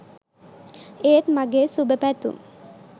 ඒත් මගේ සුබ පැතුම්